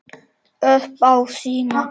Upp á sína.